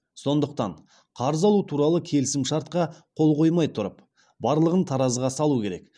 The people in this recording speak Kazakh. сондықтан қарыз алу туралы келісімшартқа қол қоймай тұрып барлығын таразыға салу керек